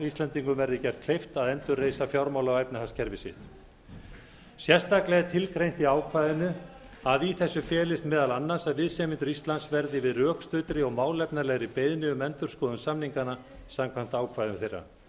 íslendingum verði gert kleift að endurreisa fjármála og efnahagskerfi sitt sérstaklega er tilgreint í ákvæðinu að í þessu felist meðal annars að viðsemjendur íslands verði við rökstuddri og málefnalegri beiðni um endurskoðun samninganna samkvæmt ákvæðum þeirra